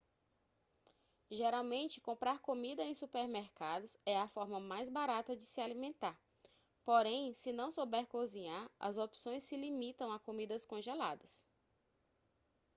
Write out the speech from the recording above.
geralmente comprar comida em supermercados é a forma mais barata de se alimentar porém se não souber cozinhar as opções se limitam a comidas congeladas